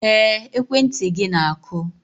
Ee, ekwentị gị na-akụ.